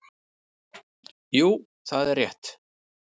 Jú það er rétt.